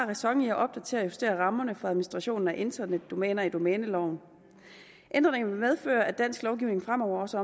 ræson i at opdatere og justere rammerne for administrationen af internetdomæner i domæneloven ændringerne vil medføre at dansk lovgivning fremover også